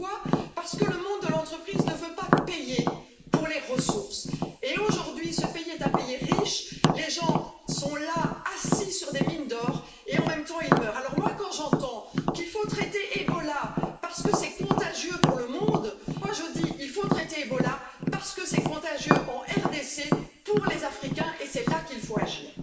Pourquoi? Parce que le monde de l'entreprise ne veut pas payer pour les ressources. Aujourd'hui, ce pays est un pays riche et les gens sont là, assis sur des mines d'or et en même temps, ils meurent. Alors quand j'entends qu'il faut traiter Ebola parce que c'est contagieux pour le monde, je dis il faut traiter Ebola parce que c'est contagieux en RDC pour les Africains et c'est là qu'il faut agir.